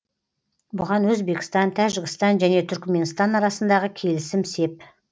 бұған өзбекстан тәжікстан және түркіменстан арасындағы келісім сеп